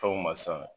Fɛnw ma san